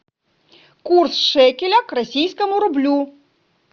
курс шекеля к российскому рублю